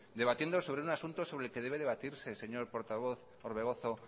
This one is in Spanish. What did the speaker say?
debatiendo sobre un asunto sobre el que debe debatirse señor portavoz orbegozo